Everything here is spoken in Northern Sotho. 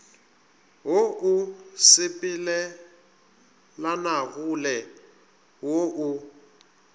wo o sepelelanagole wo o